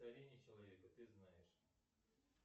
человека ты знаешь